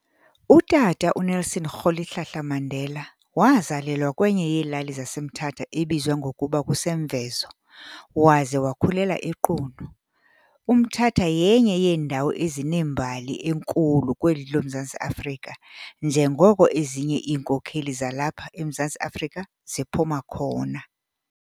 Utata u Nelson Rolihlahla Mandela wazelalwa kwenye yeelali zaseMthatha ebizwa ngokuba kuseMvezo waze wakhulela eQunu. UMthatha yenye yeendawo ezinembali enkhulu kweli loMzantsi Afrika njengoko ezinye iinkokheli zalapha eMzantsi Afrika ziphuma khona.